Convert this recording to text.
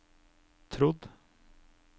trodd